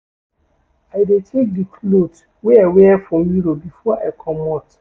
I dey check di cloth wey I wear for mirror before I comot.